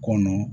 Kɔnɔ